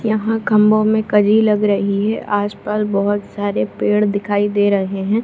यहाँ खम्बों में कई लग रही है आसपास बहुत सारे पेड़ दिखाई दे रहे हैं ।